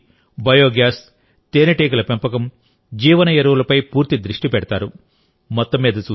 సౌరశక్తి బయోగ్యాస్ తేనెటీగల పెంపకంబయో ఫెర్టిలైజర్లపై పూర్తి దృష్టి పెడతారు